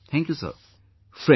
Thank you, Thank You Sir